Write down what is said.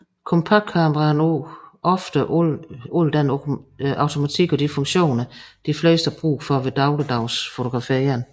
Kompaktkameraet har nu ofte alle den automatik og de funktioner de fleste har brug for ved dagligdags fotografering